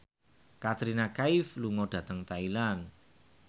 Katrina Kaif lunga dhateng Thailand